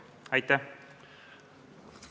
Aitäh!